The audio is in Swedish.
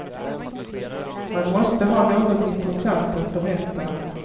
Man måste ha något intressant att berätta.